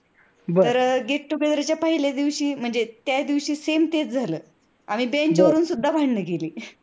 तर get together च्या पहिल्या दिवशी म्हणजे त्याच दिवशी same आम्ही bench वरून सुद्धा भांडण केली.